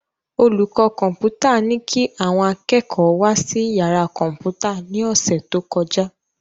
Olùkọ́ Kọ́mpútà ní kí àwọn akẹ́kọ̀ọ́ wá sí yàrá Kọ́mpútà ní ọ̀sẹ̀ tó kọjá